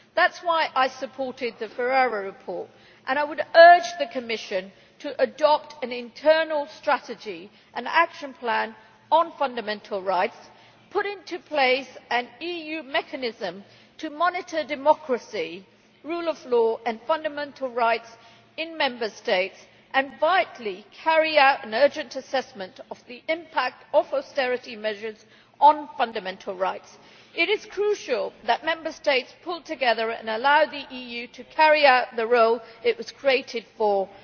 That is why I supported the Ferreira report, and I would urge the Commission to adopt an internal strategy and action plan on fundamental rights, put in place an EU mechanism to monitor democracy, the rule of law and fundamental rights in Member States and, vitally, carry out an urgent assessment of the impact of austerity measures on fundamental rights. It is crucial that Member States pull together and allow the EU to carry out the role it was created for, namely